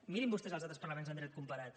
mirin vostès els altres parlaments en dret comparat